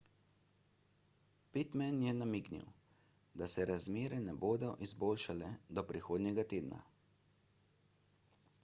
pittman je namignil da se razmere ne bodo izboljšale do prihodnjega tedna